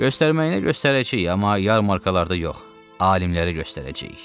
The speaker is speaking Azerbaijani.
Göstərməyinə göstərəcəyik, amma yarmarkalarda yox, alimlərə göstərəcəyik.